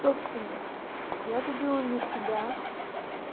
собственно я забила на себя